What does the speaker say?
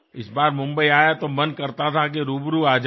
এইবার মুম্বই গিয়ে মনে হচ্ছিল সামনাসামনি সাক্ষাৎ করে আসি